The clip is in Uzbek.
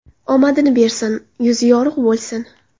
Omadini bersin, yuzi yorug‘ bo‘lsin!